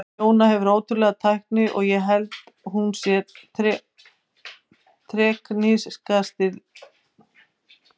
Jóna hefur ótrúlega tækni og ég held hún sé teknískasti leikmaður á landinu.